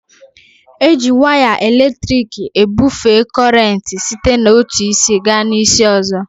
Eji waya elektriki ebufee kọrenti site n'otu isi gaa isi ọzọ